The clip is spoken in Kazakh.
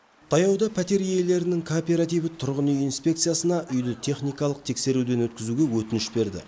таяуда пәтер иелерінің кооперативі тұрғын үй инспекциясына үйді техникалық тексеруден өткізуге өтініш берді